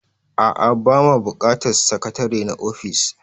A'a, ba ma buƙatar sakatare na ofis.